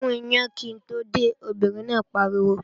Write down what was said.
Gún iyán kí n tó dé, obìnrin náà pariwo!